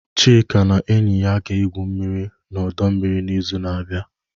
Chika na enyi ya ga-egwu mmiri n'ọdọ mmiri n'izu na-abịa.